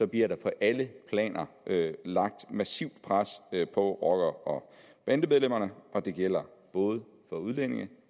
bliver der på alle planer lagt massivt pres på rockere og bandemedlemmer og det gælder både for udlændinge